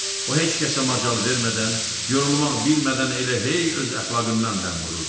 O heç kəsə macal vermədən, yorulmaq bilmədən elə hey öz əxlaqından dəm vururdu.